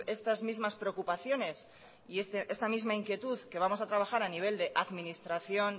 estas mismas preocupaciones y esta misma inquietud que vamos a trabajar a nivel de administración